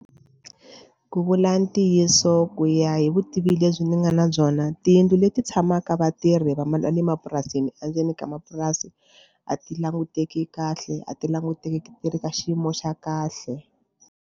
Ku vula ntiyiso ku ya hi vutivi lebyi ni nga na byona tiyindlu leti tshamaka vatirhi va le mapurasini endzeni ka mapurasi a ti languteki kahle a ti languteki ti ri ka xiyimo xa kahle.